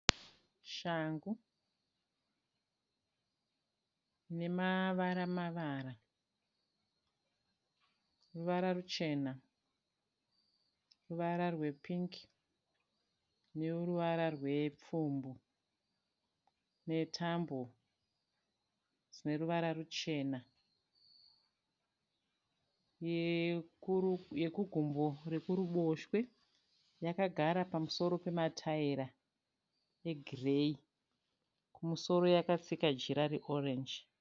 Shangu nemavara mavara, ruvara ruchena, ruvara rwepingi neruvara rwepfumbu, netambo dzine ruvara ruchena. Yekugumbo rekuruboshwe yakagara pamusoro pematayira egireyi kumusoro yakatsika jira reorenji.